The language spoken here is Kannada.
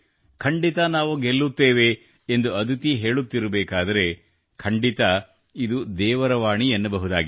ಖಂಡಿತ ನಾವು ಗೆಲ್ಲುತ್ತೇವೆ ಎಂದು ಅದಿತಿ ಹೇಳುತ್ತಿರಬೇಕಾದರೆ ಖಂಡಿತ ಇದು ದೇವರ ವಾಣಿ ಎನ್ನಬಹುದಾಗಿದೆ